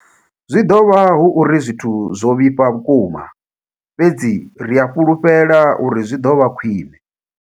Zwi ḓo vha hu uri zwithu zwo vhifha vhukuma, fhedzi ri a fhulufhela uri zwi ḓo vha khwiṋe.